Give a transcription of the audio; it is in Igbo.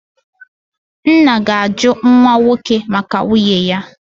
nna ga-ajụ nwa nwoke maka nwunye ya.